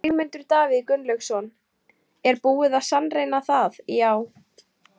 Sigmundur Davíð Gunnlaugsson: Er búið að sannreyna það já?